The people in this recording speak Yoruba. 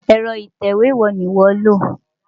Ẹ̀rọ ìtẹ̀wé wo ni ìwọ́ lò?